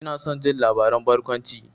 Ina son jin labaran barkwanci.